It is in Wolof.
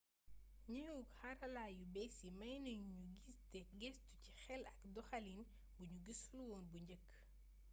gneewuk xarala yu béss yi maynagnu gnu giss te geestu ci xél ak doxalin bugnu gissulwoon bu njeek